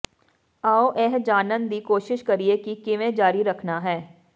ਆਓ ਇਹ ਜਾਨਣ ਦੀ ਕੋਸ਼ਿਸ਼ ਕਰੀਏ ਕਿ ਕਿਵੇਂ ਜਾਰੀ ਰੱਖਣਾ ਹੈ